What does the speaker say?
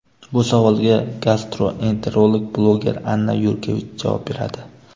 Bu savolga gastroenterolog bloger Anna Yurkevich javob beradi.